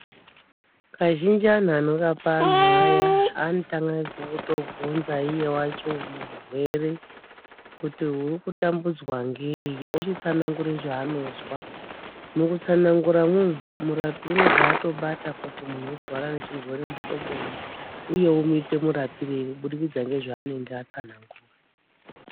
Kazhinji antu anorapa antu aya anotanga ngekutobvunza iye wacho murwere kuti uri kutambudzwa ngei ochitsanangura zvaanozwa mukutsananguramwo umu murapi unobva atobata kuti muntu urikurwara nechirwere muhloboi uye omuite murapirei kuburikidza ngezvaanenge atsanangura